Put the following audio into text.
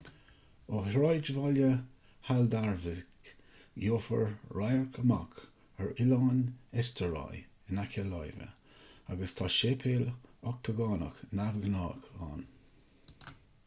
ó shráidbhaile haldarsvik gheofar radhairc amach ar oileán eysturoy in aice láimhe agus tá séipéal ochtagánach neamhghnách ann